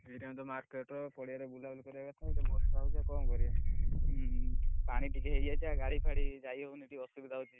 ଏଇ time ରେ ତ market ପଡିଆରେ ବୁଲାବୁଲି କରିବା କଥା ଇଏ ତ ବର୍ଷା ହଉଛି ଆଉ କଣ କରିବା ପାଣି ଟିକେ ହେଇଯାଇଛି ଆଉ ଗାଡି ଫାଡି ଯାଇ ହଉନି ଟିକେ ଅସୁବିଧା ହଉଛି।